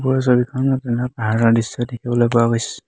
ওপৰৰ ছবিখনত এটা পাহাৰৰ দৃশ্য দেখিবলৈ পোৱা গৈছে।